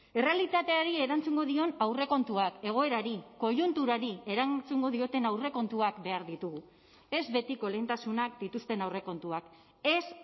errealitateari erantzungo dion aurrekontuak egoerari koiunturari erantzungo dioten aurrekontuak behar ditugu ez betiko lehentasunak dituzten aurrekontuak ez